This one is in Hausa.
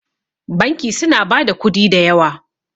banki suna ba da kudi da yawa